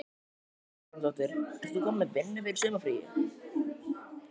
Helga Arnardóttir: Ert þú komin með vinnu fyrir sumarið?